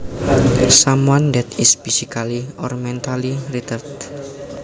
Someone that is physically or mentally retarded